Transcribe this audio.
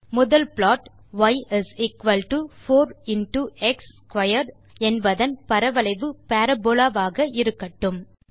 முதல் plot y is equal to 4 into x squared என்பதன் பரவளைவு பரபோலா ஆக இருக்கட்டும்